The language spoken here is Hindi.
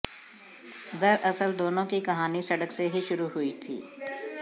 दरअसल दोनों की कहानी सड़क से ही शुरू हुई थी